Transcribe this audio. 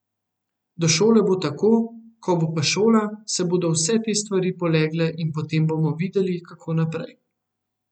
Do šole bo tako, ko bo pa šola, se bodo vse te stvari polegle in potem bomo videli, kako naprej.